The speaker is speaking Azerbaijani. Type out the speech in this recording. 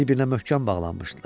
Bir-birinə möhkəm bağlanmışdılar.